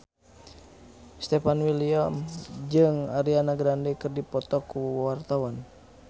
Stefan William jeung Ariana Grande keur dipoto ku wartawan